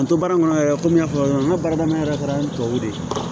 An to baara in kɔnɔ yɛrɛ komi n y'a fɔ cogoya min na n ka baara daminɛ yɛrɛ kɛra tubabu de ye